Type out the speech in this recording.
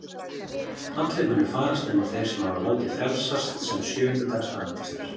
Allir munu farast nema þeir sem hafa látið frelsast sem sjöunda dags aðventistar.